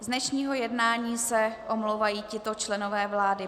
Z dnešního jednání se omlouvají tito členové vlády.